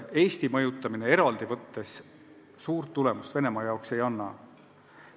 Eesti mõjutamine eraldi võttes suurt midagi Venemaa jaoks ei anna.